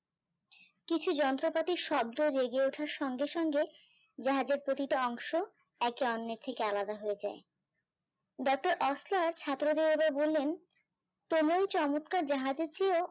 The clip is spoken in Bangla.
কিছু যন্ত্রপাতির শব্দ জেগে ওঠার সঙ্গে সঙ্গে জাহাজের প্রতিটা অংশ একে অন্যের থেকে আলাদা হয়ে যায় ডাক্তার ওসলার ছাত্রদের বললেন কেমন চমৎকার জাহাজের চেও